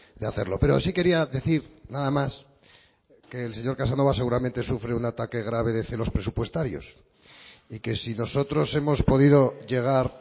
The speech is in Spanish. de hacerlo pero sí quería decir nada más que el señor casanova seguramente sufre un ataque grave de celos presupuestarios y que si nosotros hemos podido llegar